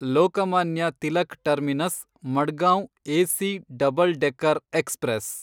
Lokmanya Tilak terminus Madgaon AC double decker express